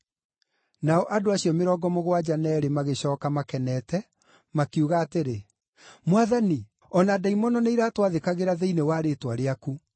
Nao andũ acio mĩrongo mũgwanja na eerĩ magĩcooka makenete, makiuga atĩrĩ, “Mwathani, o na ndaimono nĩiratwathĩkagĩra thĩinĩ wa rĩĩtwa rĩaku.”